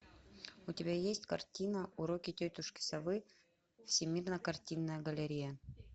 у тебя есть картина уроки тетушки совы всемирная картинная галерея